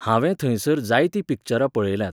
हांवें थंयसर जायतीं पिक्चरां पळयल्यांत.